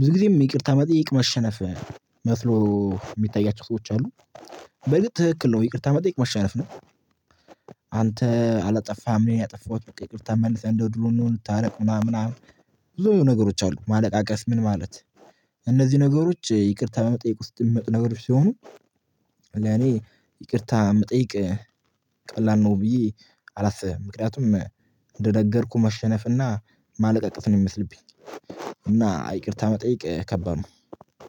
ብዙ ጊዜ ይቅርታ መጠየቅ መሻነፍ መስሎ የምታያቸው ሰዎች አሉ በርግጥ ትክክል ነው ይቅርታ መጠየቅ መሻነፍ ነው። አንተ አላጠፋህም እኔ ነኝ ያጠፋሁት በቃ ይቅርታ መልሰን እንደድርው እንሁን እንድታርቅ ምናምን ምናምን ብዙ ነገሮች አሉ ማለቃቀስ ምን ማለት? እነዚህ ነገሮች ይቅርታ በመጠየቅ ውስጥ የሚመጡ ነገሮች ሲሆኑ። ለኔ ይቅርታ መጠየቅ ቀላል ነው ብዬ አላስብም። ምክንያቱም እንደነገርኩህ መሻነፍና ማለቀቀስፍ ነው የምመስልብኝ እና ይቅርታ መጠየቅ ከባድ ነው